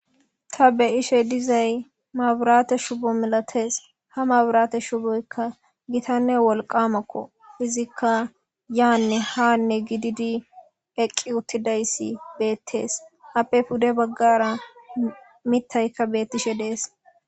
ta beishe dizay maaburaate shubo milatees ha maaburaate shuboykka gitanne wolqamakko izikka yaanne haanne gididi eqqi uttidayssi beettees appe pude baggara mitayka beettishe dees